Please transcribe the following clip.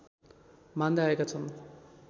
मान्दै आएका छन्